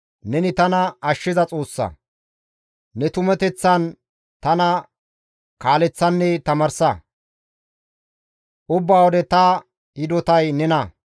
Neni tana ashshiza Xoossa; ne tumateththan tana kaaleththanne tamaarsa; ubba wode ta hidotay nena.